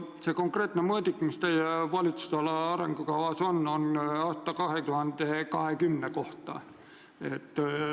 See konkreetne mõõdik, mis teie valitsusala arengukavas kirjas on, on aasta 2020 kohta.